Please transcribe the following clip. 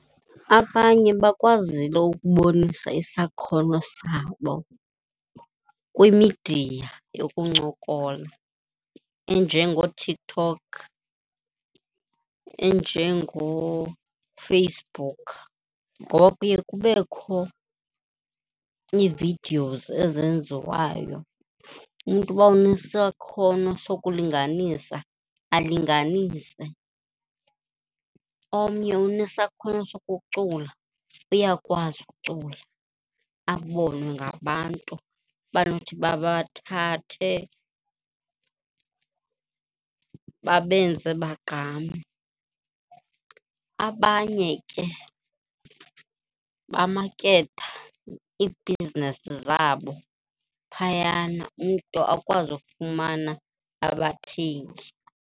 Abanye bakwazile ukubonisa isakhono sabo kwimidiya yokuncokola enjengooTikTok, enjengooFacebook ngoba kuye kubekho ii-videos ezenziwayo. Umntu uba unesakhono sokulinganisa, alinganise. Omnye unesakhono sokucula, uyakwazi ukucula, abonwe ngabantu abanothi babathathe babenze bagqame. Abanye ke bamaketha iibhizinesi zabo phayana, umntu akwazi ufumana abathengi.